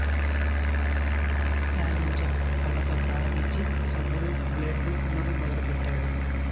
చారింజ పళ్ళతో ప్రారంభించి సబ్బులు బ్లేడులు అమ్మటం మొదలు పెట్టాడు